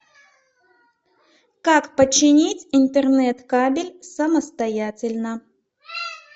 как починить интернет кабель самостоятельно